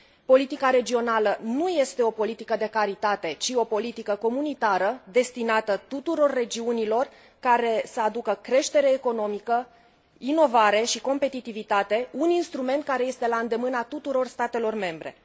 Politica regională nu este o politică de caritate, ci o politică comunitară, destinată tuturor regiunilor, care să aducă creștere economică, inovare și competitivitate, un instrument care este la îndemâna tuturor statelor membre.